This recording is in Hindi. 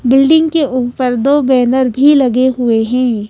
बिल्डिंग के ऊपर दो बैनर भी लगे हुए हैं।